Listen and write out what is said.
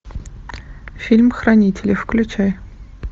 фильм хранители включай